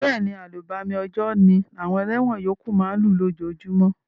Béèni, àlùbami òjò ni àwon eléwon yókù ma n lú lójojúmó